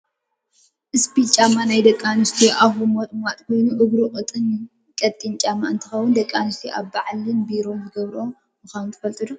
ስፒል ጫማ ናይ ደቂ ኣንስትዮ ኣፉ ሞጥማጥ ኮይኑ እግሩ ቀጢን ጫማ እንትከውን፣ ደቂ ኣንስትዮ ኣብ ባዓላትን ቢሮን ዝገብሮኦ ምኳነን ትፈልጡ ዶ?